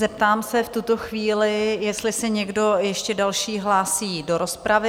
Zeptám se v tuto chvíli, jestli se někdo ještě další hlásí do rozpravy?